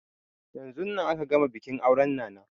Yanzun nan aka gama bikin auren nana